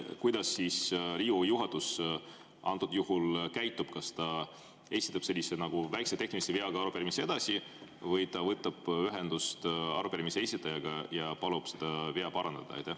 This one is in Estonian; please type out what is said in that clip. Kuidas Riigikogu juhatus sel juhul käitub: kas ta sellise väikese tehnilise veaga arupärimise edasi või ta võtab ühendust arupärimise esitajaga ja palub selle vea parandada?